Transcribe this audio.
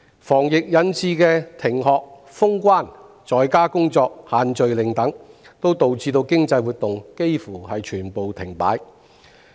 防疫引致的停學、封關、在家工作、"限聚令"等，亦導致經濟活動幾乎全部停擺。